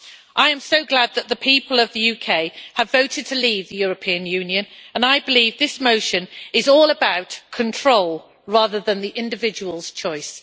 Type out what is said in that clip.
I am so glad that the people of the UK have voted to leave the European Union and I believe this motion is all about control, rather than the individual's choice.